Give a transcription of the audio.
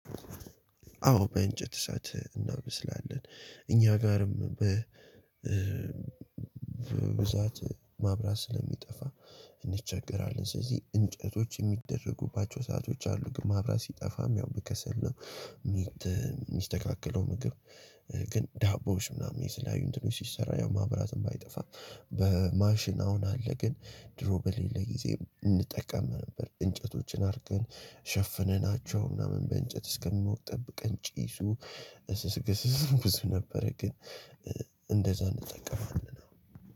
አዎ በእንጨት እሳት እናበስላለን። እኛ ጋርም በብዛት መብራት ስለሚጠፋ እንቸገራለን ስለዚህ እንጨቶች የሚደረጉባቸው ሰአቶች አሉ ግን መብራት ሲጠፋም ያው በከሰል ነው የሚስተካከለው ምግብ ግን ዳቦዎች ምናምን የተለያዩ እንትቶች ሲሰራ ያው መብራትም ባይጠፋ፣ በማሽን አሁን አለ ግን ድሮ በሌለ ጊዜ እንጠቀም ነበር፤ እንጨቶችን አድርገን ሸፍነናቸው እና በእንጨት እስከሚሞቅ ጠብቀን ጭሱ ብዙ ነበረ ግን እንደዛ እንጠቀማለን።